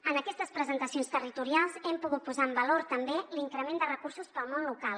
en aquestes presentacions territorials hem pogut posar en valor també l’increment de recursos per al món local